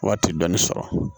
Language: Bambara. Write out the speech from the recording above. Waati dɔɔnin sɔrɔ